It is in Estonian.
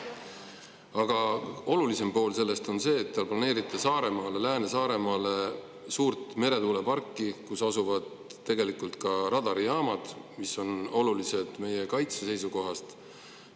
Aga olulisem pool on see, et te planeerite Saaremaale, Lääne-Saaremaale suurt meretuuleparki, kus asuvad ka radarijaamad, mis on olulised meie kaitse seisukohast.